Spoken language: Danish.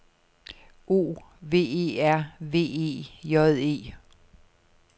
O V E R V E J E